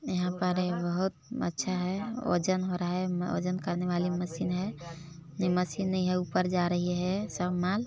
यहाँ पर एक बहुत अच्छा है वजन हो रहा है वजन करने वाली मशीन है यह मशीन नहीं है ऊपर जा रही है सब माल--